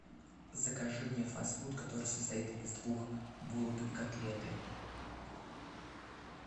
закажи мне фаст фуд который состоит из двух булок и котлеты